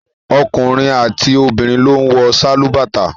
Ọkùnrin àti obìnrin ló ń wọ sálúbàtà